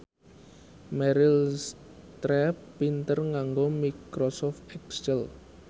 Meryl Streep pinter nganggo microsoft excel